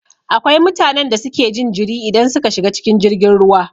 Akwai mutanen da suke jin jiri idan suka shiga cikin jirgin ruwa